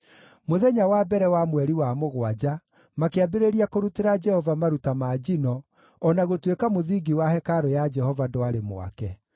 Mũthenya wa mbere wa mweri wa mũgwanja makĩambĩrĩria kũrutĩra Jehova maruta ma njino, o na gũtuĩka mũthingi wa hekarũ ya Jehova ndwarĩ mwake.